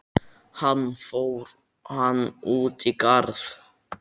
Hann: Fór hann út í garð?